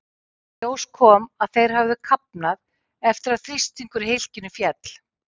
Í ljós kom að þeir höfðu kafnað eftir að þrýstingur í hylkinu féll.